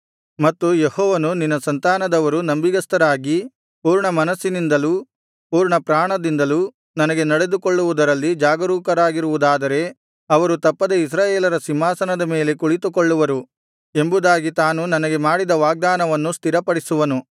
ಮತ್ತು ಯೆಹೋವನು ನಿನ್ನ ಸಂತಾನದವರು ನಂಬಿಗಸ್ತರಾಗಿ ಪೂರ್ಣಮನಸ್ಸಿನಿಂದಲೂ ಪೂರ್ಣಪ್ರಾಣದಿಂದಲೂ ನನಗೆ ನಡೆದುಕೊಳ್ಳುವುದರಲ್ಲಿ ಜಾಗರೂಕರಾಗಿರುವುದಾದರೆ ಅವರು ತಪ್ಪದೆ ಇಸ್ರಾಯೇಲರ ಸಿಂಹಾಸನದ ಮೇಲೆ ಕುಳಿತುಕೊಳ್ಳುವರು ಎಂಬುದಾಗಿ ತಾನು ನನಗೆ ಮಾಡಿದ ವಾಗ್ದಾನವನ್ನು ಸ್ಥಿರಪಡಿಸುವನು